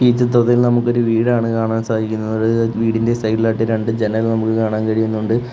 ഈ ചിത്രത്തിൽ നമുക്കൊരു വീടാണ് കാണാൻ സാധിക്കുന്നത് വീടിന്റെ സൈഡിലായിട്ട് രണ്ട് ജനൽ നമുക്ക് കാണാൻ കഴിയുന്നുണ്ട്.